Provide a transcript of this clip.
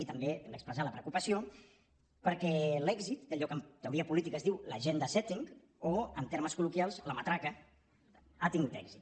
i també hem d’expressar la preocupació perquè l’èxit d’allò que en teoria política es diu l’ agendasetting o en termes col·loquials la matraca ha tingut èxit